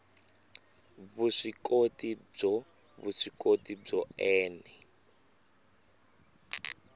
vuswikoti byo vuswikoti byo ene